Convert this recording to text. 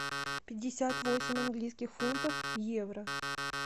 пятьдесят восемь английских фунтов в евро